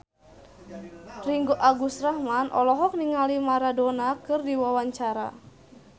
Ringgo Agus Rahman olohok ningali Maradona keur diwawancara